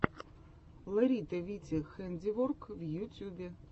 лерита вити хэндиворк в ютьюбе